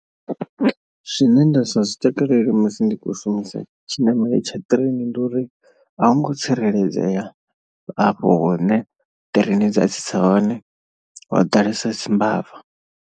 Zwine ndasa zwi takalela musi ndi khou shumisa tshiṋamelo tsha train ndi uri a hu ngo tsireledzea afho hune ṱireini dza tsitsa hone ho ḓalesa u dzi mbava.